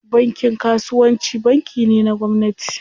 Bankin kasuwanci banki ne na gwamnati.